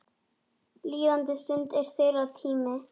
Líðandi stund er þeirra tími.